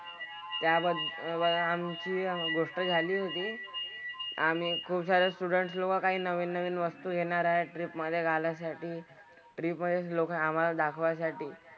त्या वर अह आमची गोष्ट झाली होती. आम्ही खुपसारे स्टुडन्ट लोकं काही नवीन नवीन वस्तू घेणार आहेत ट्रिप मधे घालायसाठी. ट्रिप मधेच लोकं आम्हाला दाखवायसाठी.